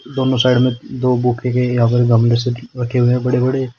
दोनों साइड में दो बुके के या यहां पे गमले से रखे हुए हैं बड़े बड़े।